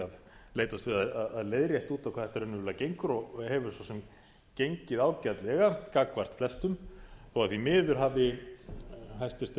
að leitast við að leiðrétta út á hvað þetta í raunverulega gengur og hefur svo sem gengið ágætlega gagnvart flestum þó því miður hafi hæstvirtir